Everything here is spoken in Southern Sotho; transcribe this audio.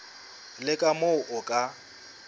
le ka moo o ka